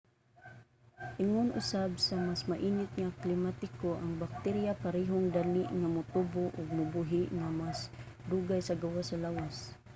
ingon usab sa mas mainit nga klimatiko ang bakterya parehong dali nga motubo ug mabuhi nga mas dugay sa gawas sa lawas